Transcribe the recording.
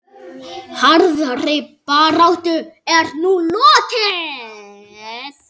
Harðri baráttu er nú lokið.